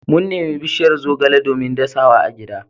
Mun nemi bishiyar zogale domin dasa wa agida.